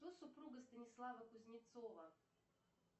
кто супруга станислава кузнецова